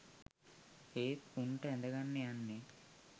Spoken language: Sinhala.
ඒත් උංට ඇඳගන්න යන්නේ